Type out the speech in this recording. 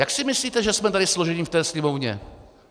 Jak si myslíte, že jsme tady složeni, v té Sněmovně?